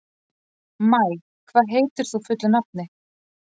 Maj, hvað heitir þú fullu nafni?